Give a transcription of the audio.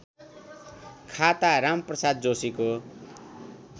खाता रामप्रसाद जोशीको